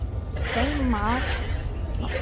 Hreiðmar, ég kom með níutíu og níu húfur!